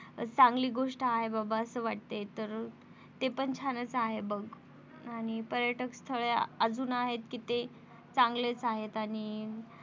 चांगली गोष्ट आहे बाबा असं वाटते तर ते पण छानच आहे बघ आणि पर्यटक स्थळे अजून आहेत कि चांगलेच आहेत आणि